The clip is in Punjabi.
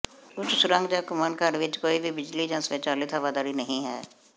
ਉੱਚ ਸੁਰੰਗ ਜਾਂ ਘੁੰਮਣਘਰ ਵਿਚ ਕੋਈ ਵੀ ਬਿਜਲੀ ਜਾਂ ਸਵੈਚਾਲਿਤ ਹਵਾਦਾਰੀ ਨਹੀਂ ਹੈ